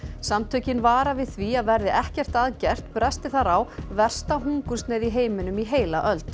samtökin vara við því að verði ekkert að gert bresti þar á versta hungursneyð í heiminum í heila öld